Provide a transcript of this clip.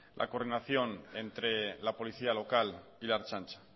la coordinación entre la policía local y la ertzaintza